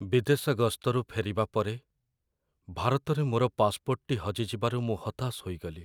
ବିଦେଶ ଗସ୍ତରୁ ଫେରିବା ପରେ, ଭାରତରେ ମୋର ପାସପୋର୍ଟଟି ହଜିଯିବାରୁ ମୁଁ ହତାଶ ହୋଇଗଲି।